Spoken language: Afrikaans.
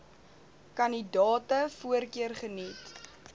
kandidate voorkeur geniet